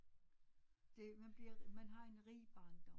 Det man bliver man har en rig barndom